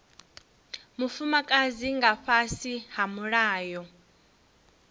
mufumakadzi nga fhasi ha mulayo